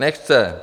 Nechce.